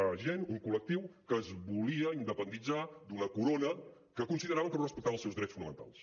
una gent un col·lectiu que es volia independitzar d’una corona que consideraven que no respectava els seus drets fonamentals